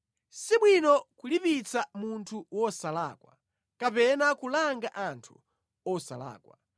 Sibwino kulipitsa munthu wosalakwa, kapena kulanga anthu osalakwa.